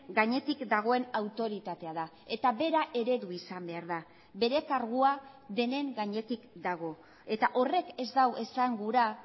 gainetik dagoen autoritatea da eta bera eredu izan behar da bere kargua denen gainetik dago eta horrek ez du esan gura